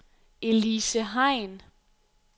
Elise Hein